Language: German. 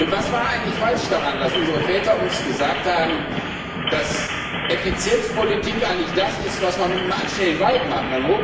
Was war eigentlich falsch daran, dass unsere Väter uns gesagt haben, dass Effizienzpolitik eigentlich das ist, was man mit einem anständigen Wald macht?